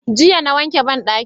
Jiya na wanke banɗakin mu